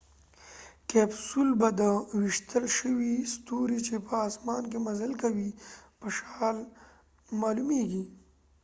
کیپسول به د ویشتل شوي ستوري چې په اسمان کې مزل کوي په شان معلومیږي